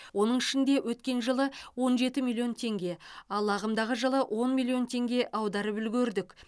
оның ішінде өткен жылы он жеті миллион теңге ал ағымдағы жылы он миллион теңге аударып үлгердік